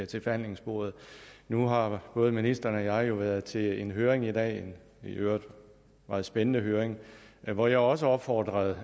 til forhandlingsbordet nu har både ministeren og jeg jo været til en høring i dag i øvrigt en meget spændende høring hvor jeg også opfordrede